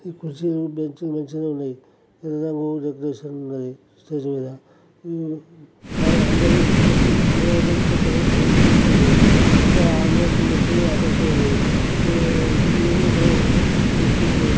ఈ కుర్చీలు బెంచ్ లు మంచిగా ఉన్నాయి. పిల్లలకు డెకరేషన్ ఉన్నది స్టేజ్ మీద ఆ-ఆందరూ కూసు నిలబడ్డారు కొంతమంది కు-కూసూనృ. ఇంకా అందరికి మంచిగా ఆకాశం ఉంది. దుస్తులు ఉన్నాయి.